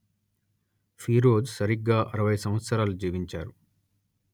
ఫీరోజ్ సరిగ్గా అరవై సంవత్సరాలు జీవించారు